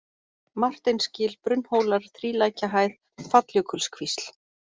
Marteinsgil, Brunnhólar, Þrílækjahæð, Falljökulskvísl